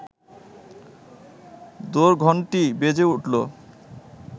দোরঘণ্টি বেজে উঠল